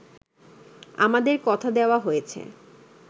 আমাদের কথা দেওয়া হয়েছে